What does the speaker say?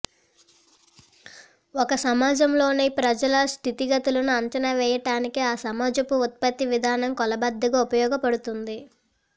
ఒక సమాజంలోని ప్రజల స్థితిగతులను అంచనా వేయటానికి ఆ సమాజపు ఉత్పత్తి విధానం కొలబద్దగా ఉపయోగ పడుతుంది